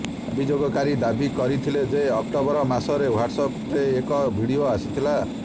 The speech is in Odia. ଅଭିଯୋଗକାରୀ ଦାବି କରିଥିଲେ ଯେ ଅକ୍ଟୋବର ମାସରେ ହ୍ବାଟ୍ସ୍ ଆପ୍ରେ ଏକ ଭିଡିଓ ଆସିଥିଲା